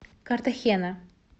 картахена